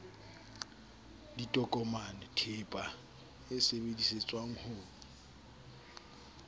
ditokomane theepa e sebedisetswang ho